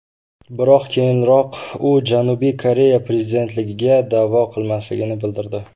Biroq keyinroq u Janubiy Koreya prezidentligiga da’vo qilmasligini bildirdi .